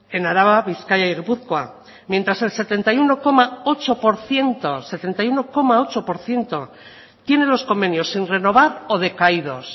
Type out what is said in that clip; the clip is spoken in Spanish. en araba bizkaia y gipuzkoa mientras el setenta y uno coma ocho por ciento tiene los convenios sin renovar o decaídos